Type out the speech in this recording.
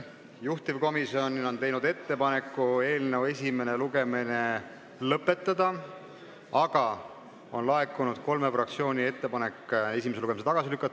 Juhtivkomisjon on teinud ettepaneku eelnõu esimene lugemine lõpetada, aga on laekunud kolme fraktsiooni ettepanek see eelnõu esimesel lugemisel tagasi lükata.